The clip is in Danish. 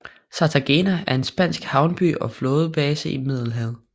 Cartagena er en spansk havneby og flådebase i Middelhavet